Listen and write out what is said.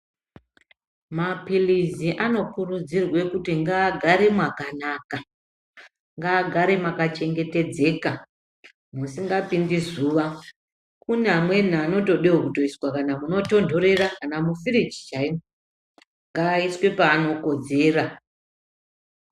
Mapilizi anokurudzirwe kuti ngaagare nwakanaka ngaagare mwakachengetedzeka musikapindinzuwa kune amweni anotidawo kuiswe pabotontorera kana mufiriji chaimwo ngaaiswe paanokodzera.